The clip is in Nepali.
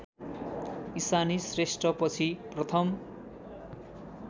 इशानी श्रेष्ठपछि प्रथम